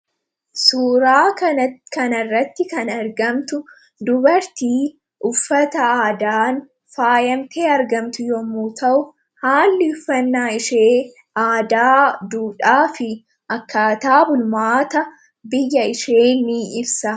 suuraa kan irratti kan argamtu dubartii uffata aadan fmp argamtu yommuu ta'u haalli uffannaa ishee aadaa duudhaa fi akkaataa bulmaata biyya ishee ni ibsa